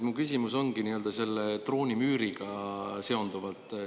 Mu küsimus ongi nii-öelda selle droonimüüriga seonduvalt.